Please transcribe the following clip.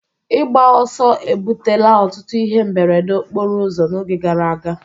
Ịgba ọsọ ebutela ọtụtụ ihe mberede okporo ụzọ n'oge gara aga